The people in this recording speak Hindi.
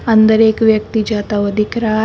अंदर एक व्यक्ति जाता हुआ दिख रहा है।